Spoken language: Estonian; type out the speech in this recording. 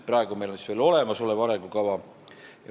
Praegu on meil veel olemasolev arengukava.